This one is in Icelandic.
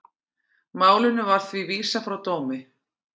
Málinu var því vísað frá dómi